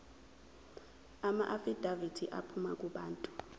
amaafidavithi aphuma kubantu